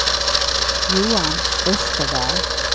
Johan Österberg